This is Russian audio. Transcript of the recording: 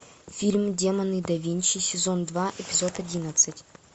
фильм демоны да винчи сезон два эпизод одиннадцать